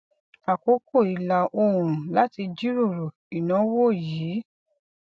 àkókò ìlà oòrùn láti jíròrò ìnáwó yìí